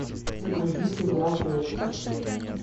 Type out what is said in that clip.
загрузи сериал декстер